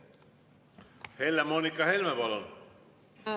Helle-Moonika Helme, palun!